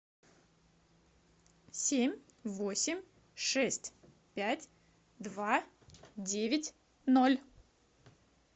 семь восемь шесть пять два девять ноль